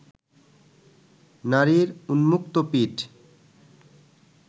নারীর উন্মুক্ত পিঠ